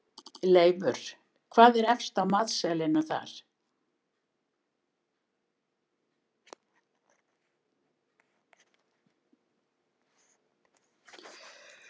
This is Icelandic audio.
Leifur, hvað er efst á matseðlinum þar?